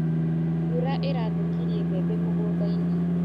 Mbura ĩrathũkirie mbembe mũgũndainĩ.